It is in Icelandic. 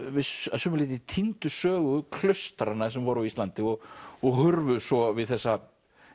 að sumu leyti týndu sögu klaustranna sem voru á Íslandi og og hurfu svo við þessa